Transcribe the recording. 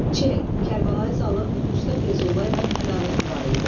Ç. Kərbəlayi Zalın usta Feyzulla ilə ədavəti var idi.